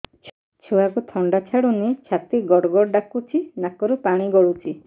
ଛୁଆକୁ ଥଣ୍ଡା ଛାଡୁନି ଛାତି ଗଡ୍ ଗଡ୍ ଡାକୁଚି ନାକରୁ ପାଣି ଗଳୁଚି